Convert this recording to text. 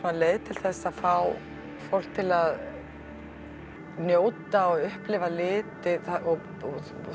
leið til að fá fólk til að njóta og upplifa liti þú